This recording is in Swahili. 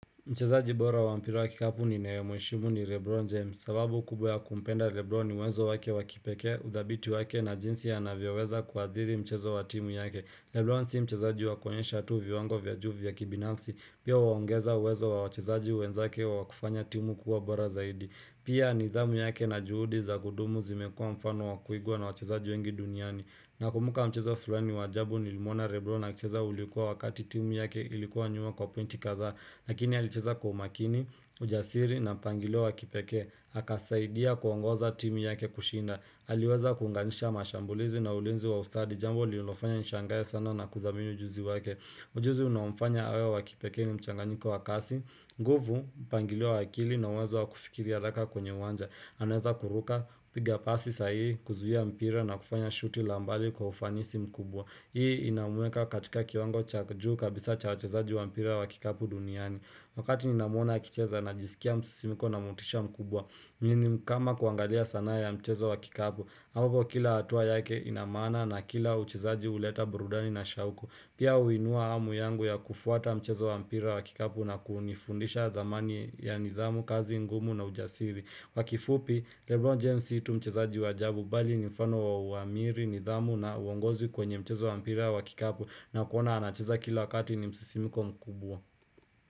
Mchezaji bora wampira wakikapu ni nayemweshimu ni Rebron James, sababu kubwa ya kumpenda Rebron ni uwezo wake wakipekee, udhabiti wake na jinsi a na vyoweza kuadhiri mchezo wa timu yake. Rebron si mchezaji wakuonyesha tuvi wango vya juu vya kibinafsi, pia huongeza uwezo wa wachezaji wenzake wa kufanya timu kuwa bora zaidi. Pia nidhamu yake na juhudi za kudumu zimekuwa mfano wa kuigwa na wachezaji wengi duniani. Na kumbuka mchezo flani wajabu ni limuona rebro akicheza ulikuwa wakati timu yake ilikuwa nyuma kwa pointi kadhaa lakini alicheza kwa umakini, ujasiri na mpangilio wa kipekee akasaidia kuongoza timu yake kushinda aliweza kuunganisha mashambulizi na ulinzi wa ustadi jambo lililofanya nishangae sana na kudhamini ujuzi wake Ujuzi unaomfanya awe wa kipekee ni mchanganyiko wakasi nguvu pangilio wa akili na uwezo wa kufikiria haraka kwenye uwanja anaweza kuruka piga pasi sahi kuzuhia mpira na kufanya shuti lambali kwa ufanisi mkubwa Hii inamweka katika kiwango cha juu kabisa cha wachezaji wa mpira wa kikapu duniani Wakati ninamuona akicheza na jisikia msisimiko na motisha mkubwa Mnini kama kuangalia sanaa ya mchezo wa kikapu ambapo kila hatua yake inamaana na kila uchezaji uleta burudani na shauku Pia uinua amu yangu ya kufuata mchezo wa mpira wa kikapu na kunifundisha thamani ya nidhamu kazi ngumu na ujasiri Wakifupi, Lebron James situ mchezaji wa ajabu bali ni mfano wa uamiri, nidhamu na uongozi kwenye mchezo wa mpira wa kikapu na kuona anacheza kila wakati ni msisimiko mkubwa.